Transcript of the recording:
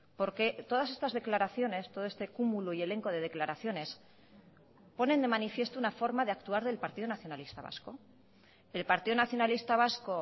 porque todas estas declaraciones todo este cúmulo y elenco de declaraciones ponen de manifiesto una forma de actuar del partido nacionalista vasco el partido nacionalista vasco